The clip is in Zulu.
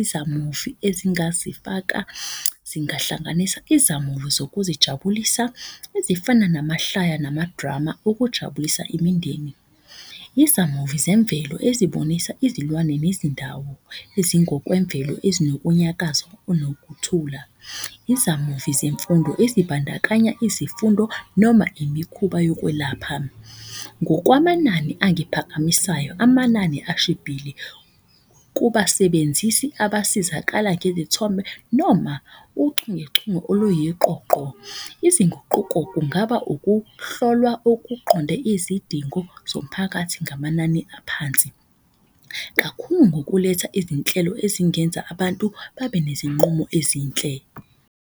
Izamuvi ezingasifaka zingahlanganisa izamuvi zokuzijabulisa ezifana namahlaya namadrama okujabulisa imindeni. Izamuvi zemvelo ezibonisa izilwane nezindawo ezingokemvelo ezinokunyakaza nokuthula. Izamuvi zemfundo ezibandakanya izifundo noma imikhuba yokwelapha. Ngokwamanani angiphakamisayo, amanani ashibhile kubasebenzisi abasizakala ngezithombe noma uchungechunge oluyiqoqo. Izinguquko kungaba ukuhlolwa okuqonde izidingo zomphakathi ngamanani aphansi. Kakhulu ngokuletha izinhlelo ezingenza abantu babe nezinqumo ezinhle.